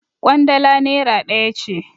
Ƙwandala nera ɗaya ce.